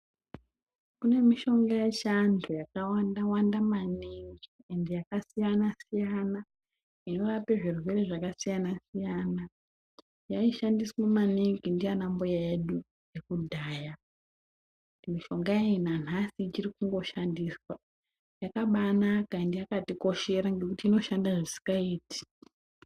Kune mishonga yechiantu yakawanda Wanda maningi ende yakasiyana -siyana inorape zvirwere zvakasiyana -siyana. Yaishandiswe maningi ndiana mbuya edu ekudhaya, mishonga iyi nanhasi ichiri kungoshandiswa. Yakabanaka ende yakatikoshera ngekuti inoshanda zvisikaiti.